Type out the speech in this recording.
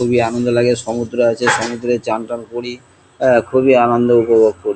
খুবই আনন্দ লাগে সমুদ্র আছে সমুদ্রে চান টান করি। এ খুবই আনন্দ উপভোগ কর--